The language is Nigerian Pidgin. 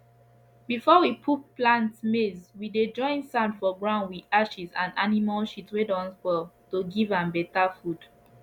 before we put plant maize we dey join sand for ground with ashes and animal shit wey don spoil to give am better food